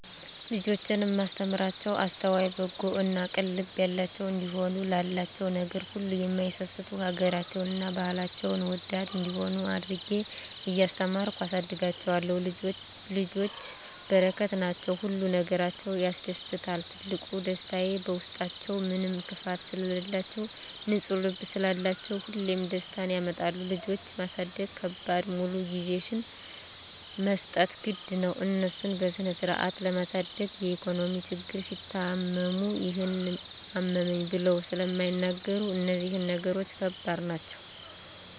ልጆቼን እማስተምራቸዉ አስተዋይ፣ በጎ እና ቅን ልብ ያላቸዉ እንዲሆኑ፣ ላላቸዉ ነገር ሁሉ እማይሳስቱ፣ ሀገራቸዉን እና ባህላቸዉን ወዳድ እንዲሆነ አድርጌ እያስተማርኩ አሳድጋቸዋለሁ። ልጆች በረከት ናቸዉ። ሁሉ ነገራቸዉ ያስደስታል ትልቁ ደስታየ በዉስጣችዉ ምንም ክፋት ስለላቸዉ፣ ንፁ ልብ ስላላቸዉ ሁሌም ደስታን ያመጣሉ። ልጆች ማሳደግ ከባዱ ሙሉ ጊዜሽን መስጠት ግድ ነዉ፣ እነሱን በስነስርአት ለማሳደግ የኢኮኖሚ ችግር፣ ሲታመሙ ይሄን አመመኝ ብለዉ ስለማይናገሩ እነዚህ ነገሮች ከባድ ናቸዉ።